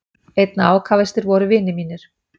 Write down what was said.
Einna ákafastir voru vinir mínir.